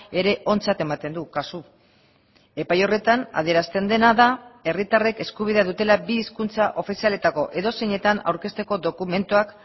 ere ontzat ematen du kasu epai horretan adierazten dena da herritarrek eskubidea dutela bi hizkuntza ofizialetako edozeinetan aurkezteko dokumentuak